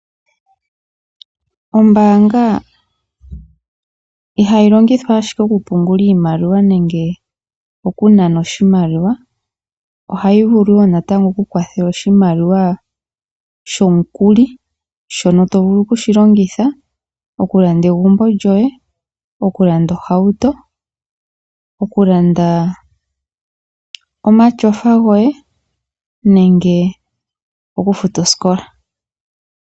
Ombaanga ihayi longithwa ashike okupungulwa iimaliwa nenge okunanwa oshimaliwa, ohayi vulu wo natango okukwathela oshimaliwa shomukuli shono tovulu okushi longitha okulanda egumbo lyoye, okulanda ohauto, okulanda omatyofa goye nenge okufuta oosikola.